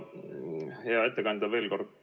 Hea ettekandja!